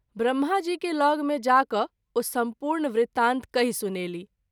ब्रम्हा जी के ल’ग में जा कय ओ सम्पूर्ण वृतांत कहि सुनेलीह।